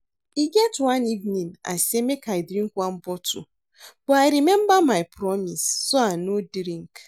E get one evening I say make I drink one bottle but I remember my promise so I no drink